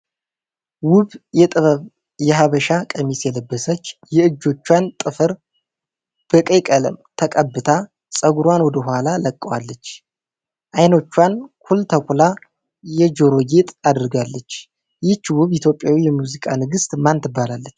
ዉብ የጥበብ የሀበሻ ቀሚስ የለበሰች የእጆቿን ጥፍር በቀይ ቀለም ተቀብታ ፀጉሯን ወደ ኋላ ለቃዋለች። አይኖቿን ኩል ተኩላ የጆሮ ጌጥ አድርጋለች። ይቺ ዉብ ኢትዮጵያዊ የሙዚቃ ንግስት ማን ትባላለች?